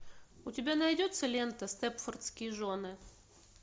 у тебя найдется лента степфордские жены